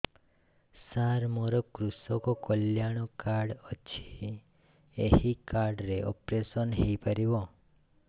ସାର ମୋର କୃଷକ କଲ୍ୟାଣ କାର୍ଡ ଅଛି ଏହି କାର୍ଡ ରେ ଅପେରସନ ହେଇପାରିବ